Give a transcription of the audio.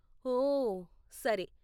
ఓ! సరే!